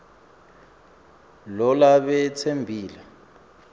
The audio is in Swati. lo labe tsembele